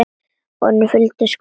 Önnur hola fylgdi skömmu síðar.